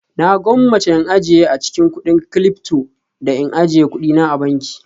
Na gwammace in ajiye a cikin kudin Cilyfto da in ajiye kuɗina a banki